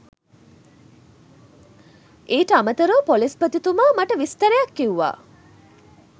ඊට අමතරව ‍පොලිස්පතිතුමා මට විස්තරයක් කිව්වා